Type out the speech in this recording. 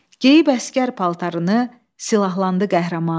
Geyib əsgər paltarını, silahlandı qəhrəman.